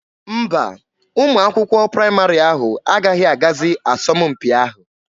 Mba, ụmụ akwụkwọ praịmarị ahụ agaghị agazi asọmpi ahụ.